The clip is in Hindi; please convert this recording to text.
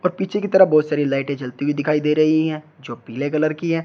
और पीछे की तरफ बहोत सारी लाइटें जलती हुई दिखाई दे रही हैं जो पीले कलर की हैं।